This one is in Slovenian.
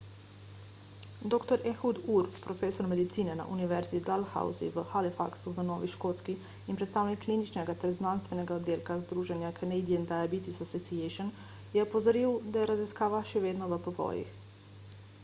dr ehud ur profesor medicine na univerzi dalhousie v halifaxu v novi škotski in predsednik kliničnega ter znanstvenega oddelka združenja canadian diabetes association je opozoril da je raziskava še vedno v povojih